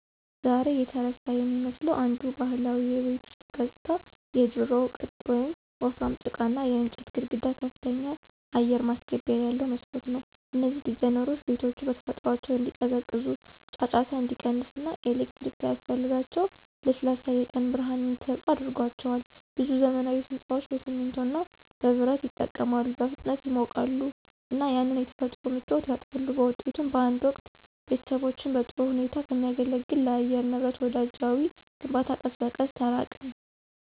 ዛሬ የተረሳ የሚመስለው አንዱ ባህላዊ የቤት ውስጥ ገጽታ የድሮው ቅጥ ያለው ወፍራም ጭቃና የእንጨት ግድግዳ ከፍተኛ አየር ማስገቢያ ያለው መስኮት ነው። እነዚህ ዲዛይኖች ቤቶቹ በተፈጥሯቸው እንዲቀዘቅዙ፣ ጫጫታ እንዲቀንስ እና ኤሌክትሪክ ሳያስፈልጋቸው ለስላሳ የቀን ብርሃን እንዲሰጡ አድርጓቸዋል። ብዙ ዘመናዊ ሕንፃዎች በሲሚንቶ እና በብረት ይጠቀማሉ, በፍጥነት ይሞቃሉ እና ያንን የተፈጥሮ ምቾት ያጣሉ. በውጤቱም፣ በአንድ ወቅት ቤተሰቦችን በጥሩ ሁኔታ ከሚያገለግል ለአየር ንብረት ወዳጃዊ ግንባታ ቀስ በቀስ ተራቅን።